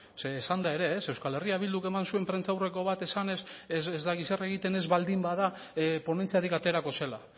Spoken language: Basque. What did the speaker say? zeren esan da ere ez euskal herria bilduk eman zuen prentsaurreko bat esanez ez dakit zer egiten ez baldin bada ponentziarik aterako zela